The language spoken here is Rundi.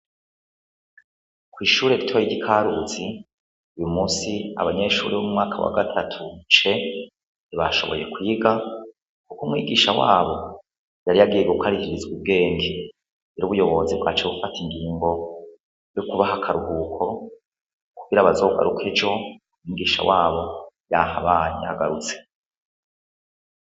Kw'ishure ritoya ry'i Karuzi, uyumusi , abanyeshure bo mu mwaka wa gatatu C, ntibashoboye kwiga kuko umwigisha wabo yari yagiye gukarihiza ubwenge, niho ubuyobozi bwaca bufata ingingo yo kubaha akaruhuko kugira bazogaruke ejo umwigisha wabo yahabaye, yagarutse.